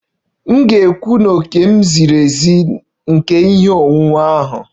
M ga-ekwu na òkè m ziri ezi nke ihe onwunwe ahụ